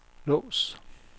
lås